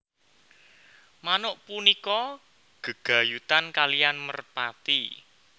Manuk punika gègayutan kaliyan merpati